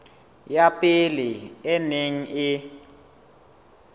ya pele e neng e